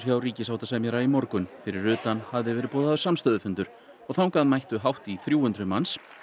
hjá ríkissáttasemjara í morgun fyrir utan hafði verið boðaður samstöðufundur þangað mættu hátt í þrjú hundruð manns